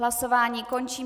Hlasování končím.